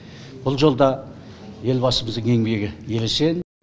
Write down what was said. бұл жолда елбасымыздың еңбегі ересен